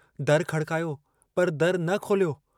दरु खड़कायो पर दरु न खोल्यो।